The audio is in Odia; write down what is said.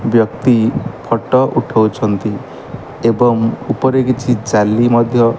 ବ୍ୟକ୍ତି ଫଟୋ ଉଠାଉଛନ୍ତି ଏବଂ ଉପରେ କିଛି ଜାଲି ମଧ୍ୟ --